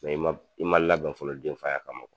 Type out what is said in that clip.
i man i man labɛn fɔlɔ denfaya kama o.